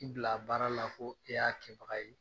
I bila baara la ko e y'a kɛbaga ye.